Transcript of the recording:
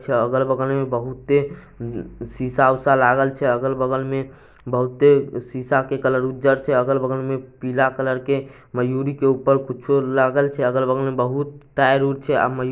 अगल-बगल में बहुत शीशाउषा लागल छै अगल-बगल में बहुते शीशा के कलर उज्जर छै अगल-बगल में पीला कलर के मयूरी के ऊपर कुछो लागल छै अगल-बगल में बहुत टायर ऊर छै अ मयूरी----